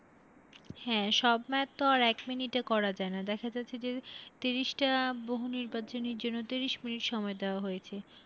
হ্যাঁ, সব math তো আর এক minute এ করা যায়না, দেখা যাচ্ছে যে তিরিশটা বহুনির্বাচনীর জন্য তিরিশ minute সময় দেওয়া হয়েছে।